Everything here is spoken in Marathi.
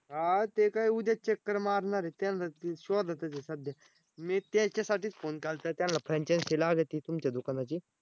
आ ते काय उद्या चक्कर मारणार आहेत. त्यांला ते शोधातच आहे सध्या. मी त्यांच्यासाठीच Phone केलता. त्यांला Franchise लागती तुमच्या दुकानाची.